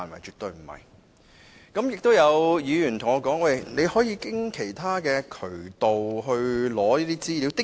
此外，有議員說可以循其他渠道取得資料。